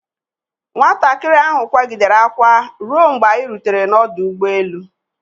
Nwatakịrị ahụ akwaa gidere akwa ruo mgbe anyi rutere n'ọdụ ụgbọ elu.